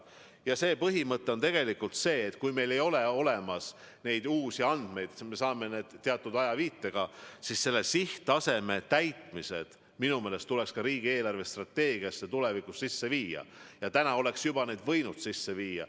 Ja see põhimõte on see, et kui meil ei ole olemas uusi andmeid, kui me saame andmed teatud ajalise viitega, siis sihttasemete täitmist tuleks minu meelest riigi eelarvestrateegiasse tulevikus arvestada ja need parandused oleks ka praegu juba võinud sisse viia.